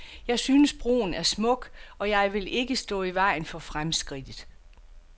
Jeg synes, broen er smuk, og jeg vil ikke stå i vejen for fremskridtet.